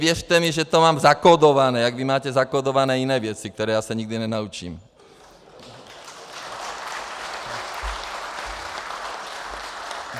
Věřte mi, že to mám zakódované, jako vy máte zakódované jiné věci, které já se nikdy nenaučím.